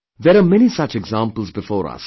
There are many such examples before us